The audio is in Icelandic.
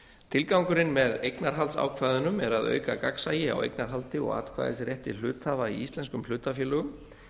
tilgangurinn með eignarhaldsákvæðunum er að auka gagnsæi á eignarhaldi og atkvæðisrétti hluthafa í íslenskum hlutafélögum